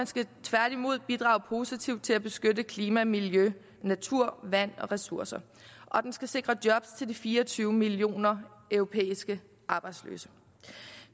skal tværtimod bidrage positivt til at beskytte klima miljø natur vand og ressourcer og den skal sikre job til de fire og tyve millioner europæiske arbejdsløse